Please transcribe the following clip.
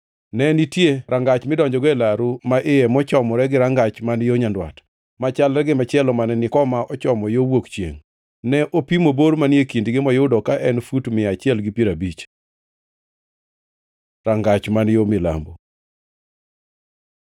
Ne nitie rangach midonjogo e laru ma iye mochomore gi rangach man yo nyandwat, machalre gi machielo mane ni koma ochomo yo wuok chiengʼ. Ne opimo bor manie kindgi moyudo ka en fut mia achiel gi piero abich. Rangach man yo milambo